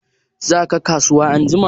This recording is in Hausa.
Za ka kasuwa anjima?